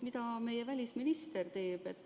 Mida meie välisminister teeb?